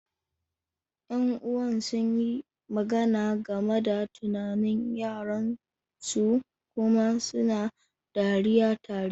Yan'uwan sun yi magana game da tunanin yaran su kuma suna dariya tare.